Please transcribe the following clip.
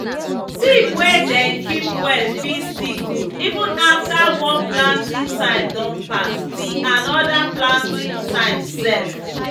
seed wey dem keep well fit still good even after one planting time don pass; till another planting time sef.